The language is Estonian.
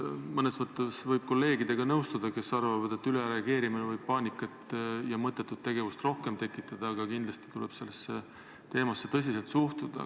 Mõnes mõttes võib nõustuda kolleegidega, kes arvavad, et ülereageerimine võib tekitada paanikat ja mõttetut tegevust, aga kindlasti tuleb sellesse teemasse tõsiselt suhtuda.